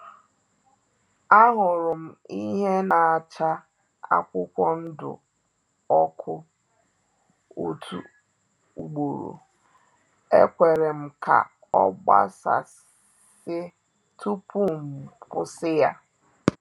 Ahụrụ m ihe na-acha akwụkwọ ndụ ọkụ otu ugboro, ekwerem ka ọ gbasasị tupu m kwusi-ya